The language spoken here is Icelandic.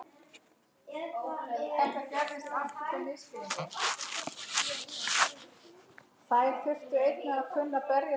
Mun minna.